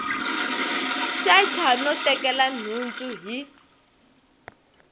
secha no tekela nhundzu hi